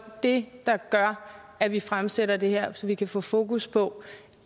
det der gør at vi fremsætter det her så vi kan få fokus på